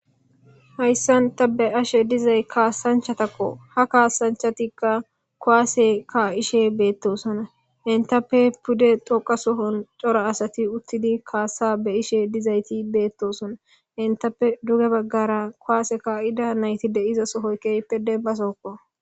Haysan ta beyashe dizays kasanchatakko, ha kasanchat kuwase ka'ishe betosona,cora asat utid kasa beyishe dizayt betosona, entappe duge bagara kuwase ka'za nayt de'za sohoy demba sohoko .